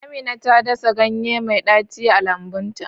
Amina ta dasa ganye mai daci a lambun ta.